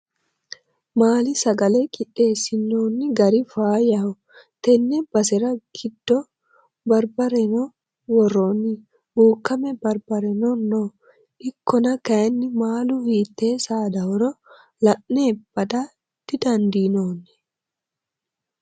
Maali sagale qiixeesinoni gari faayyaho tene basera giddo baribareno woroni bukkame baribareno no ikkonna kayinni maalu hiite saadahoro la'ne badda didandiinonni.